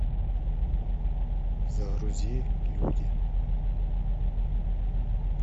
загрузи люди